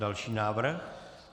Další návrh?